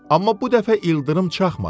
Amma bu dəfə ildırım çaxmadı.